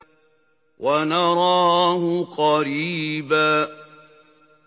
وَنَرَاهُ قَرِيبًا